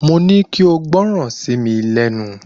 Mo ní kí ó gbọ́ran sí mi lẹ́nu